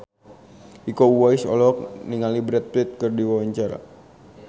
Iko Uwais olohok ningali Brad Pitt keur diwawancara